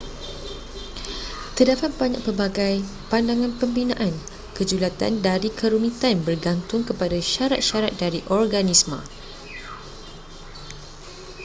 terdapat banyak pelbagai pandangan pembinaan kejulatan dari kerumitan bergantung kepada syarat-syarat dari organisma